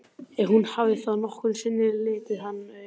Ef hún hafði þá nokkru sinni litið hann augum.